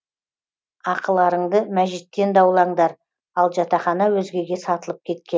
ақыларыңды мәжиттен даулаңдар ал жатақхана өзгеге сатылып кеткен